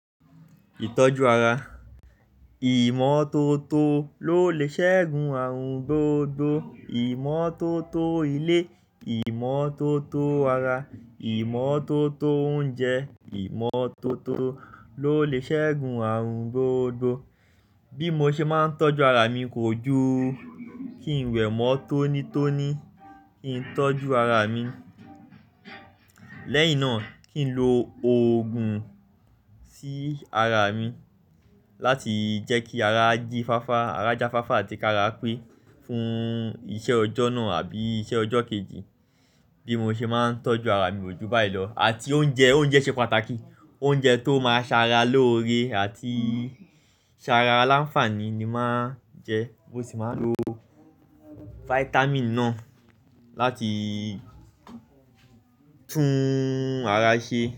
Ìtọ́jú ara. Ìmọ́tótó ló lè ṣẹ́gun àrùn gbogbo. Ìmọ́tótó ilé, ìmọ́tótó ara, ìmọ́tótó oúnjẹ, ìmọ́tótó ló lè ṣẹ́gun àrùn gbogbo. Bí mo ṣe máa ń tọ́jú ara mi kòjú, kí n wẹ̀mọ́ tónítóní, kí n tọ́jú ara mi. Lẹ́yìn náà kí n lo òògùn sí ara mi láti jẹ́ kí ara jí fáfá, ara jáfáfá àti kí ara pé fún iṣẹ́ ọjọ́ náà àbí iṣẹ́ ọjọ́ kejì. Bí mo ṣe máa ń tọ́jú ara mi kòjú báyìí lọ àti oúnjẹ, oúnjẹ ṣe pàtàkì. Oúnjẹ tó máa ń ṣara lóore àti ṣara láǹfààní ni màá ń jẹ. Mo sì máa ń lo fáítámììn náà láti tún ara ṣe.